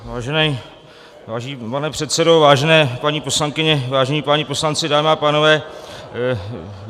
Vážený pane předsedo, vážené paní poslankyně, vážení páni poslanci, dámy a pánové.